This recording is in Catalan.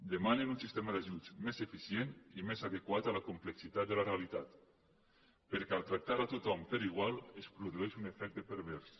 demanen un sistema d’ajuts més eficient i més adequat a la complexitat de la realitat perquè al trac·tar tothom per igual es produeix un efecte pervers